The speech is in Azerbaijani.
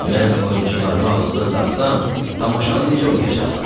Mən oyunçularıma ağızlıq taxsam, tamaşanı necə oynayacaqlar?